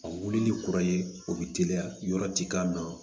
A wuli ni kura ye o bɛ teliya yɔrɔ tikan dɔn